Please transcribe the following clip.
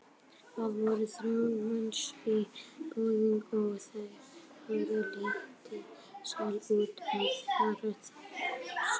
Það voru þrjátíu manns í boðinu og þau höfðu lítinn sal út af fyrir sig.